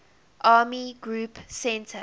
army group centre